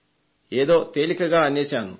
ఏదో తేలికగా అనేశాను